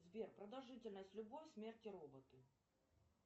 сбер продолжительность любовь смерть и роботы